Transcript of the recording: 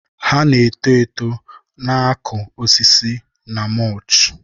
Ha na-eto eto, na-akụ osisi na mulch.